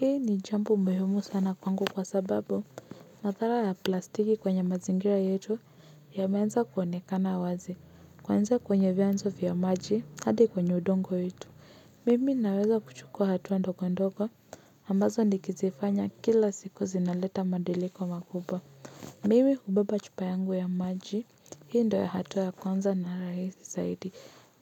Hii ni jambo muhimu sana kwangu kwa sababu. Madhara ya plastiki kwenye mazingira yetu yameanza kuonekana wazi. Kwanza kwenye vyanzo vya maji hadi kwenye udongo wetu. Mimi naweza kuchukua hatua ndogondogo. Ambazo nikizifanya kila siku zinaleta madiliko makubwa. Mimi hubeba chupa yangu ya maji. Hii ndio ya hatua kwanza na rahisi zaidi.